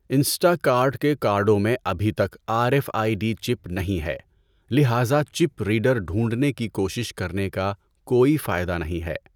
Instacart کے کارڈوں میں ابھی تک R F I D chip نہیں ہے، لہذا چپ ریڈر ڈھونڈنے کی کوشش کرنے کا کوئی فائدہ نہیں ہے۔